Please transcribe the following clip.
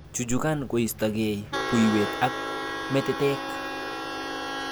Chuchukan kostokei buiwet ak metetek.